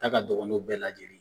N'a ka dɔgɔ n'o bɛɛ lajɛlen ye.